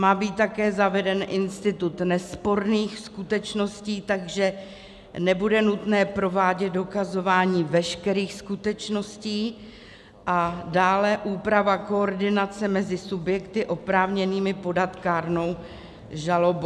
Má být také zaveden institut nesporných skutečností, takže nebude nutné provádět dokazování veškerých skutečností, a dále úprava koordinace mezi subjekty oprávněnými podat kárnou žalobu.